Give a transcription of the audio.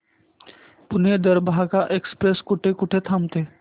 Pune Darbhanga express कुठे कुठे थांबते